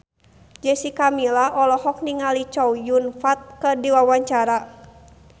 Jessica Milla olohok ningali Chow Yun Fat keur diwawancara